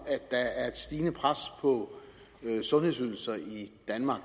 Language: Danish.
at stigende pres på sundhedsydelser i danmark